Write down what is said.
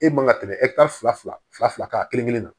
E man ka tɛmɛ fila fila kan kelen kelen na